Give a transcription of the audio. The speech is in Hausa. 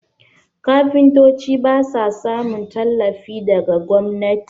kafintoci ba sa samun tallafi daga gwamnati